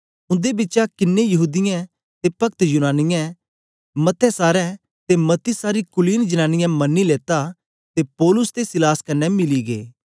उन्दे बिचा कन्ने यहूदीयें ते पक्त यूनानियें बिचा मतें सारें ते मती सारी कुलीन जनांनीयें मनी लेता ते पौलुस ते सीलास कन्ने मिली गै